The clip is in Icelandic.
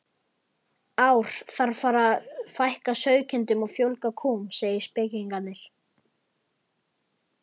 ár þarf að fækka sauðkindum og fjölga kúm, segja spekingarnir.